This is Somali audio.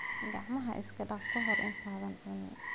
Gacmaha iska dhaq ka hor intaadan cunin.